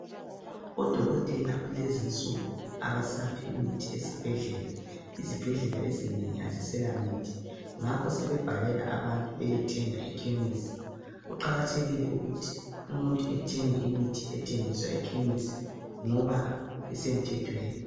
Odokotela kulezinsuku abasaphi imithi ezibhedlela . Izibhedlela ezinengi aziselamithi ngakho sebebhalela abantu beyethenga eKhemisi. Kuqakathekile ukuthi umuntu ethenge imithi ethengiswa eKhemisi ngoba isemthethweni.